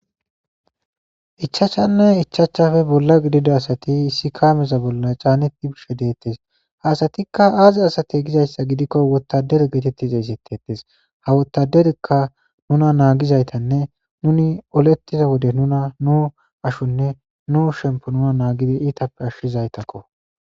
Ichachanne ichachafe bolla gidida asati issi kaameza bolla caaneti bishe deettes haasatikka aazi asate gizayssa gidikko wottaderi geetettiza isettetes ha wottaderikka nuna naagizaytanne nuni olettiza wode nuna nu ashonne nu shempo nuna naagidi iitappe ashshizaytakko.